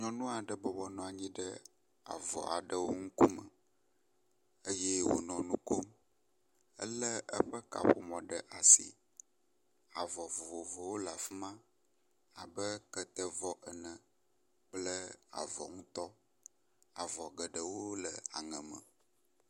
Nyɔnu aɖe bɔbɔnɔ anyi ɖe avɔ aɖrwo ŋkume eye wonɔ enu ko mele eƒe kaƒomɔ ɖe asi. Avɔ vovovowo le afi ma abe ketevɔ ene kple avɔ ŋutɔ. Avɔ geɖewo le aŋe me.